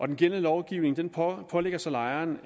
den gældende lovgivning pålægger så lejeren